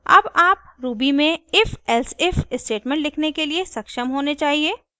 अब आप ruby में ifelsif स्टेटमेंट लिखने के लिए सक्षम होने चाहिए